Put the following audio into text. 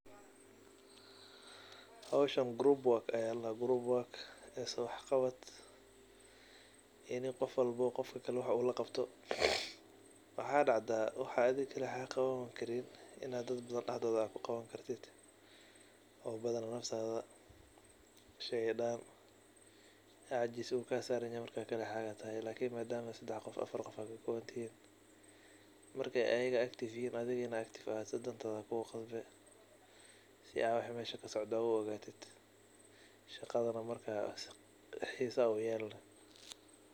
Howshan group work aya ladaha islawax qabad ini qofba qaofka kale u wax laqabto. Waxa dacda inii wax kaliga ad qawani karin ad dad badan kuqawatan oo sheyga daan cajis kasaran yahay madama ad hal qof tahay lakin marka badan tihin in ey iyaga active yihin adigana ad noqoto sii ad waxa meesha wax kasocdo u ogatid shaqadana marka xiso uyelani.